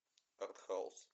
артхаус